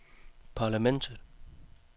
parlamentet